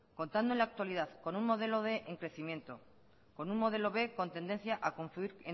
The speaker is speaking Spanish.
contando en la actualidad con un modelo quinientos en crecimiento con un modelo b con tendencia a confluir